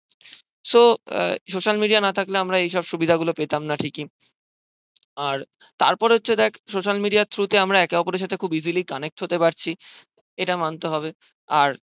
so social media না থাকলে আমরা এইসব সুবিধা গুলো পেতামনা ঠিকই আর তার পর হচ্ছে দেখ আমরা social media true তে আমরা একে ওপরের সাথে খুব easily connect হতে পারছি ইটা মানতে হবে আর